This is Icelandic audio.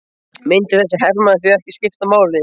Myndi þessi hermaður því ekki skipta máli?